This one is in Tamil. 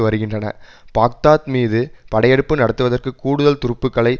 வருகின்றன பாக்தாத் மீது படையெடுப்பு நடத்துவதற்கு கூடுதல் துருப்புக்களை